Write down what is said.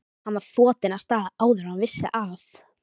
Hann var þotinn af stað áður en hann vissi af.